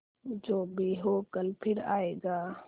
जो भी हो कल फिर आएगा